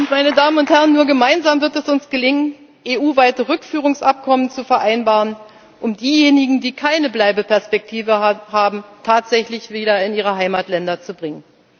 Meine Damen und Herren, nur gemeinsam wird es uns gelingen, EU weite Rückführungsabkommen zu vereinbaren, um diejenigen, die keine Bleibeperspektive haben, tatsächlich wieder in ihre Heimatländer zu bringen.